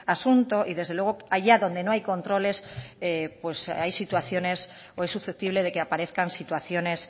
asunto y desde luego allá donde no hay controles pues hay situaciones o es susceptible de que aparezcan situaciones